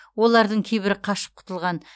олардың кейбірі қашып құтылған